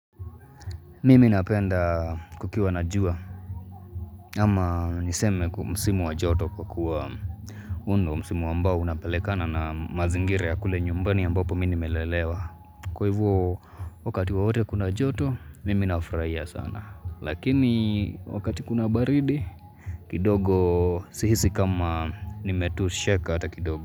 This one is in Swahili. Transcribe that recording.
Mimi napenda kukiwa na jua ama niseme ku musimu wa joto kukua huu ndo msimu ambao unapelekana na mazingira ya kule nyumbani ambapo mimi lelewa Kwa hivo wakati wowote kuna joto mimi nafuraia sana lakini wakati kuna baridi kidogo sihisi kama nimetosheka hata kidogo.